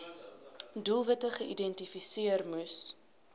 doelwitte geïdentifiseer moes